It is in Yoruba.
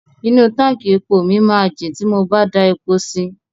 Inú táǹkì epo ni mo máa jin ti mo bá da epo si.